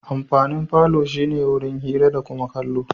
Amfanin falo shi ne wurin hira da kuma kallo.